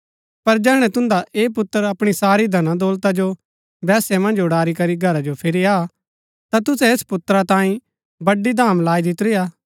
पर जैहणै तुन्दा ऐह पुत्र अपणी सारी धन दौलता जो वेश्या मन्ज उड़ारी करी घरा जो फिरी आ ता तुसै ऐस पुत्रा तांई बड़डी धाम लाई दितुरी हा